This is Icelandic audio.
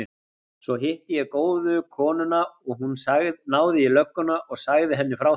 Svo hitti ég góðu konuna og hún náði í lögguna og sagði henni frá þessu.